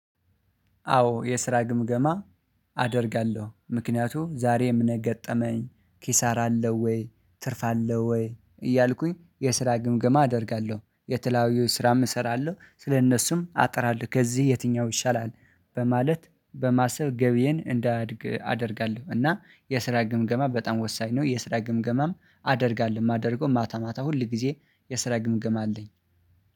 አዎ የስራ ግምገማ። አደርጋለሁ ምክንያቱም ዛሬ ምን ገጠመኝ ኪሳር አለው ወይ ትርፍ አለው ወይ እያልኩኝ የስራ ግምገማ አደርጋለሁ። የትላዊው ስራም እሰራለሁ ስለእነሱም አጥራለሁ ከዚህ የትኛው ይሻላል በማለት በማሰብ ገቢዬን እንዲያድግ አደርጋለሁ እና የስራ ግምገማ በጣም ወሳኝ ነው። የስራ ግምገማም አደርጋለሁ የማደርገው ማታ ማታ ሁል ጊዜ የስራ ግምገማ አለኝ